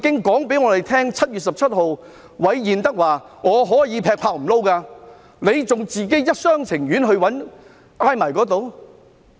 當韋彥德在7月17日告訴大家他可以辭職時，為何仍一廂情願傾向他們？